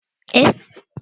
Gani ba ci bane